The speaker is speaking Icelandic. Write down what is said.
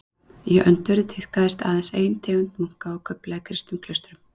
Í öndverðu tíðkaðist aðeins ein tegund munka og kufla í kristnum klaustrum.